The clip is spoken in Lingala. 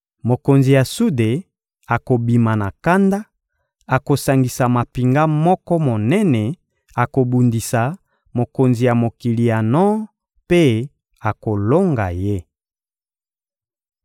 Mokonzi ya sude akobima na kanda, akosangisa mampinga moko monene, akobundisa mokonzi ya mokili ya nor mpe akolonga ye.